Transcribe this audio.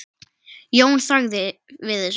Jón þagði við þessu.